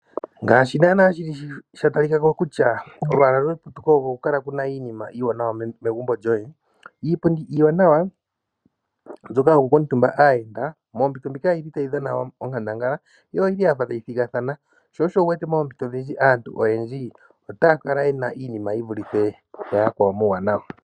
Ngaashi naana shili sha talika ko kutya olwaala lweputuko oko oku kala wuna iinima iiwanawa megumbo lyoye. Iipundi iiwanawa mbyoka yo ku kuutumba aayenda moompito ndhika oyili tayi dhana onkandangala yo oyili ya fa tayi thigathana sho osho wuwete moompito odhindji aantu oyendji otaya kala ye na iinima yi vulithe pu ya yakwawo muuwanawa.